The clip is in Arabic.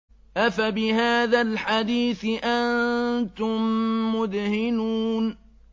أَفَبِهَٰذَا الْحَدِيثِ أَنتُم مُّدْهِنُونَ